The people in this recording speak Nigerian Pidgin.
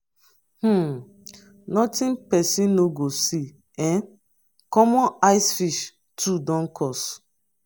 um notin person no go see um common ice fish too don cost.